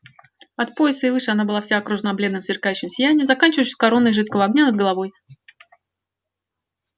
от пояса и выше она была вся окружена бледным сверкающим сиянием заканчивающимся короной жидкого огня над головой